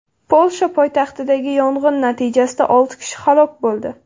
Polsha poytaxtidagi yong‘in natijasida olti kishi halok bo‘ldi.